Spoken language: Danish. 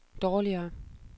dårligere